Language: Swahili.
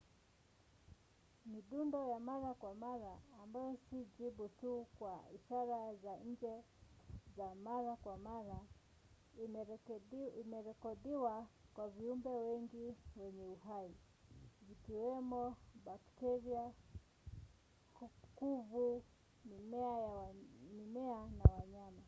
midundo ya mara kwa mara ambayo si jibu tu kwa ishara za nje za mara kwa mara imerekodiwa kwa viumbe wengi wenye uhai zikiwemo bakteria kuvu mimea na wanyama,